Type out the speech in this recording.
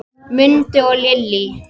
Mundi og Lillý.